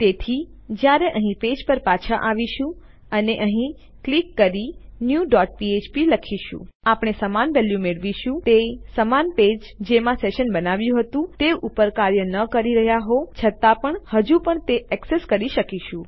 તેથી જ્યારે આપણે અહીં આપણા પેજ પર પાછા આવીએ છીએ અને અહીં ક્લિક કરી ન્યૂ ડોટ ફ્ફ્પ લખીએ છીએ તો આપણે સમાન વેલ્યુ મેળવીએ છીએ તે સમાન પેજ જેમાં આપણે સેશન બનાવ્યું હતું તે ઉપર કાર્ય ન કરી રહ્યા હોવા છતાં પણ આપણે હજુ પણ તે ઍક્સેસ કરી શકીએ છીએ